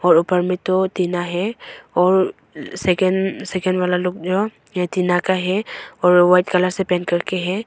और ऊपर में दो टीना है और सेकेंड सेकेंड वाला लोग जो ये टीना का है और वाइट कलर से पेंट कर के है।